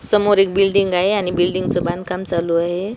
समोर एक बिल्डिंग आहे आणि बिल्डिंगचं बांधकाम चालू आहे.